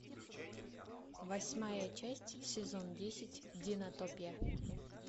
восьмая часть сезон десять динотопия